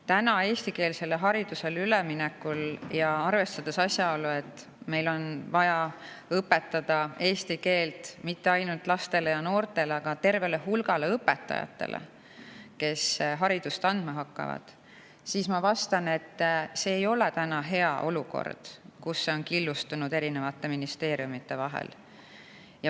Täna, kui me eestikeelsele haridusele üle läheme, ja arvestades asjaolu, et meil on vaja õpetada eesti keelt mitte ainult lastele ja noortele, vaid ka tervele hulgale õpetajatele, kes haridust andma hakkavad, ma vastan, et see ei ole hea olukord, kus see on killustunud eri ministeeriumide vahel.